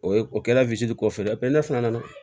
O ye o kɛla kɔfɛ ne fana nana